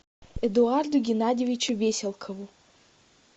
эдуарду геннадьевичу веселкову